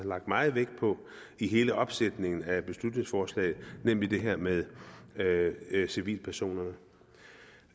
lagt meget vægt på i hele opsætningen af beslutningsforslaget nemlig det her med civilpersoner